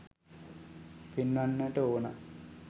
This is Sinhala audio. පෙන්වන්නට ඕන.